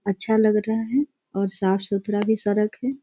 अच्छा लग रहा है और साफ-सुथरा भी सड़क है।